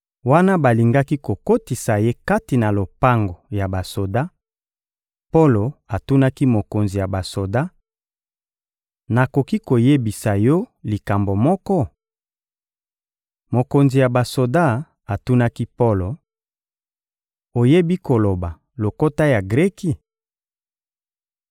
Wana balingaki kokotisa ye kati na lopango ya basoda, Polo atunaki mokonzi ya basoda: — Nakoki koyebisa yo likambo moko? Mokonzi ya basoda atunaki Polo: — Oyebi koloba lokota ya Greki?